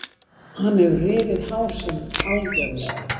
Hann hefur rifið hásin algjörlega.